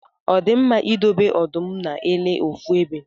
Ọdi mma idobe ọdụm na ele ofu ebe?